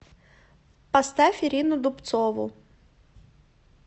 поставь ирину дубцову